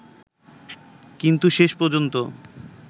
কিন্তু শেষ পর্যন্ত